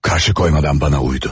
Qarşı qoymadan mənə uydu.